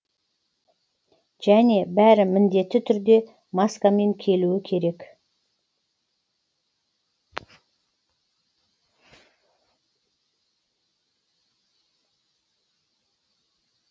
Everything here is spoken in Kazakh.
және бәрі міндетті түрде маскамен келуі керек